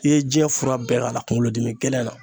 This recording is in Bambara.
I ye jiɲɛ fura bɛɛ k'a la kungolodimigɛlɛn na